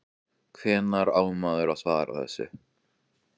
Hvernig á maður að svara þessu?